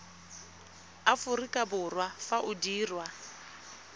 aforika borwa fa o dirwa